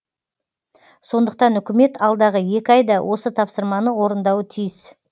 сондықтан үкімет алдағы екі айда осы тапсырманы орындауы тиіс